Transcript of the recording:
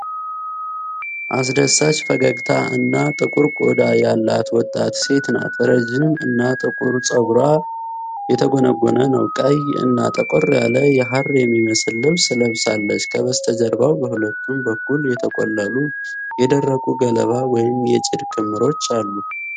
አስደሳች ፈገግታ እና ጥቁር ቆዳ ያላት ወጣት ሴት ናት። ረጅም እና ጥቁር ፀጉሯ የተጎነጎነ ነው። ቀይ እና ጠቆር ያለ የሐር የሚመስል ልብስ ለብሳለች። ከበስተጀርባ በሁለቱም በኩል የተቆለሉ የደረቁ ገለባ ወይም የጭድ ክምሮች አሉ።